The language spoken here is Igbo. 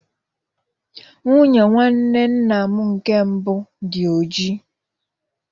Nwunye nwanne nna m nke mbụ dị ojii.